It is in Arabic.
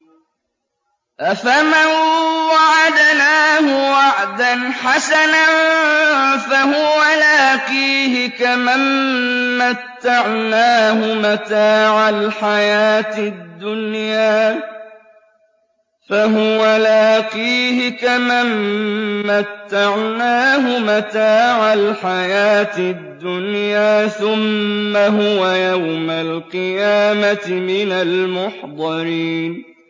أَفَمَن وَعَدْنَاهُ وَعْدًا حَسَنًا فَهُوَ لَاقِيهِ كَمَن مَّتَّعْنَاهُ مَتَاعَ الْحَيَاةِ الدُّنْيَا ثُمَّ هُوَ يَوْمَ الْقِيَامَةِ مِنَ الْمُحْضَرِينَ